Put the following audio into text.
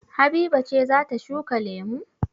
Habiba ce za ta shuka lemu?